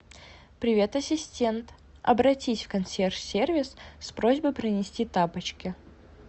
привет ассистент обратись в консьерж сервис с просьбой принести тапочки